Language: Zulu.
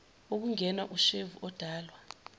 ukungenwa ushevu odalwa